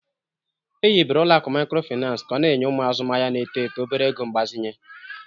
Ehibere ọlụakụ mikrofinansi ka ọ na-enye ụmụ azụmahia n'eto eto obere ego mgbazinye.